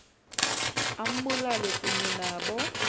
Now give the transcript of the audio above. ambulale kunye nabo